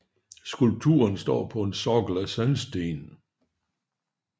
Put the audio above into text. Skulpturen står på en sokkel af sandsten